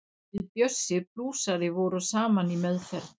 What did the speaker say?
Við Bjössi blúsari vorum saman í meðferð.